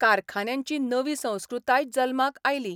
कारखान्यांची नवी संस्कृताय जल्माक आयली.